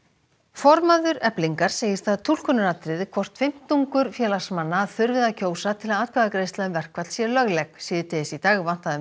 formaður Eflingar segir það túlkunaratriði hvort fimmtungur félagsmanna þurfi að kjósa til að atkvæðagreiðsla um verkfall sé lögleg síðdegis í dag vantaði um